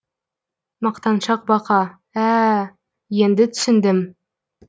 мақтаншақ бақа ә ә енді түсіндім